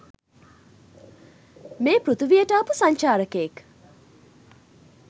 මේ පෘතුවියට ආපු සංචාරකයෙක්.